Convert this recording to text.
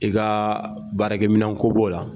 I ka baarakɛminɛnko b'o la